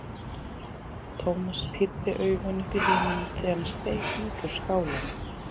Thomas pírði augun upp í himininn þegar hann steig út úr skálanum.